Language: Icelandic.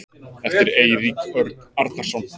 eftir eirík örn arnarson